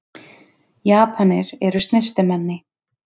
Japanir eru snyrtimenni.